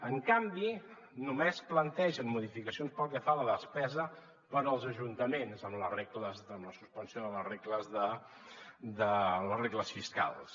en canvi només plantegen modificacions pel que fa a la despesa per als ajuntaments amb la suspensió de les regles fiscals